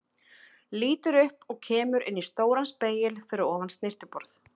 Lítur upp og kemur inn í stóran spegil fyrir ofan snyrtiborð.